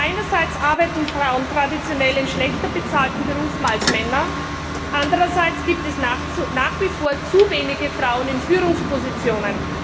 Einerseits arbeiten Frauen traditionell in schlechter bezahlten Berufen als Männer, andererseits gibt es nach wie vor zu wenige Frauen in Führungspositionen.